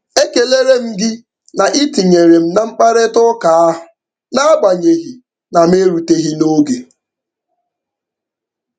Ekelere m gị na I tinyere m na mkparịtaụka ahụ n'agbanyeghị na m eruteghị n'oge.